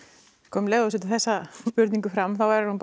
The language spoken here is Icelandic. um leið og þú setur þessa spurningu fram þá er hún